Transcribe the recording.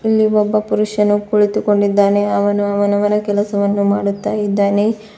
ಇಲ್ಲಿ ಒಬ್ಬ ಪುರುಷನು ಕುಳ್ಳಿತುಕೊಂಡಿದ್ದಾನೆ ಅವನು ಅವನವನ ಕೆಲಸವನ್ನು ಮಾಡುತಾ ಇದ್ದಾನೆ.